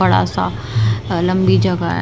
बड़ा सा लंबी जगह है।